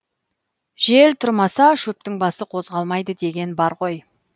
жел тұрмаса шөптің басы қозғалмайды деген бар ғой